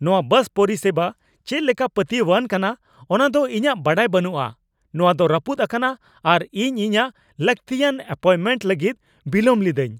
ᱱᱚᱶᱟ ᱵᱟᱥ ᱯᱚᱨᱤᱥᱮᱵᱟ ᱪᱮᱫ ᱞᱮᱠᱟ ᱯᱟᱹᱛᱭᱟᱹᱣᱟᱱ ᱠᱟᱱᱟ ᱚᱱᱟ ᱫᱚ ᱤᱧᱟᱹᱜ ᱵᱟᱰᱟᱭ ᱵᱟᱹᱱᱩᱜᱼᱟ ᱾ ᱱᱚᱣᱟ ᱫᱚ ᱨᱟᱹᱯᱩᱫ ᱟᱠᱟᱱᱟ, ᱟᱨ ᱤᱧ ᱤᱧᱟᱹᱜ ᱞᱟᱹᱠᱛᱤᱭᱟᱱ ᱮᱹᱯᱚᱭᱢᱮᱱᱴ ᱞᱟᱹᱜᱤᱫ ᱵᱤᱞᱚᱢ ᱞᱤᱫᱟᱹᱧ ᱾